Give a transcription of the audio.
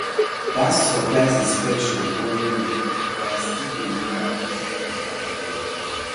that surprise inspection worry me but i still dey remember to drink water well